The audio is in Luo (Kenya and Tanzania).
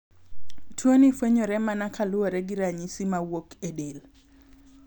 Tuo ni fwenyore mana ka luwore gi ranyisi ma wuok e del .